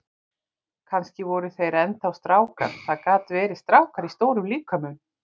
Kannski voru þeir enn þá strákar, það gat verið, strákar í stórum líkömum.